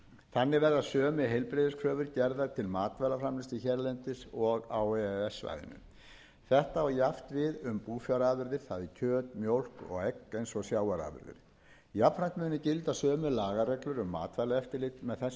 þannig verða sömu heilbrigðiskröfur gerðar til matvælaframleiðslu hérlendis og á e e s svæðinu þetta á jafnt við um búfjárafurðir það er kjöt mjólk og egg eins og sjávarafurðir jafnframt munu gilda sömu lagareglur um matvælaeftirlit með þessum